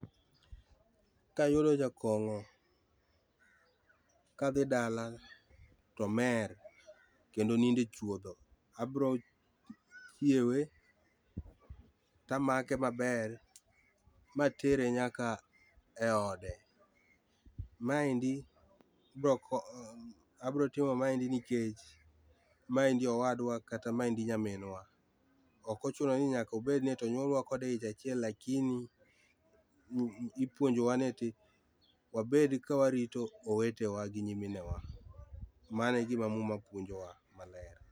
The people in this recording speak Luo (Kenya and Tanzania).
Kayudo jakong'o kadhi dala to omer kendo onindo e chuodho, abro chiewe tamake maber matere nyaka e ode, maendi, bro ko, abiro timo maendi nikech maendi owadwa kata maendi nyaminwa. Ok ochuno ni nyaka obed ni onyuolwa e ich achiel lakini ipuonjwa ni eti wabed ka warito owetewa gi nyimine wa .Mano e gima muma puonjowa maler